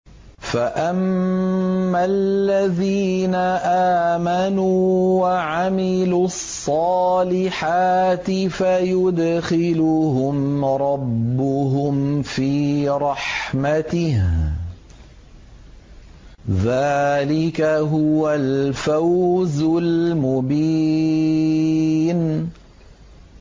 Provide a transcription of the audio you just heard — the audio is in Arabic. فَأَمَّا الَّذِينَ آمَنُوا وَعَمِلُوا الصَّالِحَاتِ فَيُدْخِلُهُمْ رَبُّهُمْ فِي رَحْمَتِهِ ۚ ذَٰلِكَ هُوَ الْفَوْزُ الْمُبِينُ